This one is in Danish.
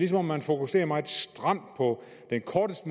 som om man fokuserer meget stramt på den kortest